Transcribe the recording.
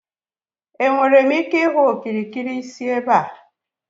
Enwere m ike ịhụ okirikiri si ebe a?